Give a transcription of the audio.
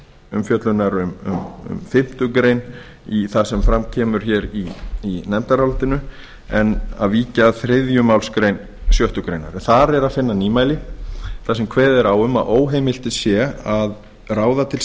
umfjöllunar um fimmtu grein í það sem fram kemur í nefndarálitinu en að víkja að þriðju málsgrein sjöttu grein í þriðju málsgrein sjöttu grein er að finna nýmæli þar sem kveðið er á um að óheimilt sé að ráða til